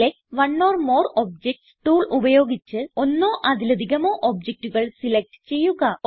select one or more objects tool ഉപയോഗിച്ച് ഒന്നോ അതിലധികമോ ഒബ്ജക്റ്റുകൾ സിലക്റ്റ് ചെയ്യുക